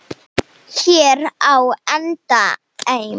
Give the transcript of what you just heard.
Heyr á endemi!